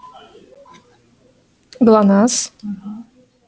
глонассс угу